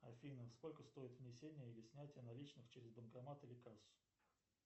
афина сколько стоит внесение или снятие наличных через банкомат или кассу